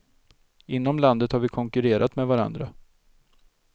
Inom landet har vi konkurrerat med varandra.